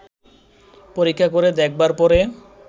পরীক্ষা করে দেখবার পরে